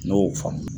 Ne y'o faamu